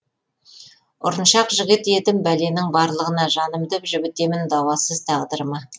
ұрыншақ жігіт едім бәленің барлығына жанымды жібітемін дауасыз тағдырыма